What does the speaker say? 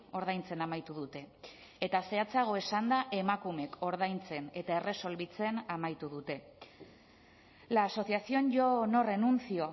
ordaintzen amaitu dute eta zehatzago esanda emakumeek ordaintzen eta erresolbitzen amaitu dute la asociación yo no renuncio